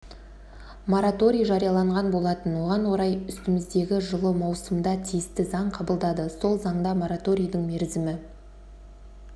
мораторий жарияланған болатын оған орай үстіміздегі жылы маусымда тиісті заң қабылдады сол заңда мораторийдің мерзімі